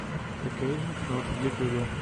кокэйжен кнот в ютюбе